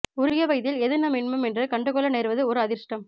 உரிய வயதில் எது நம் இன்பம் என்று கண்டுகொள்ள நேர்வது ஓரு அதிருஷ்டம்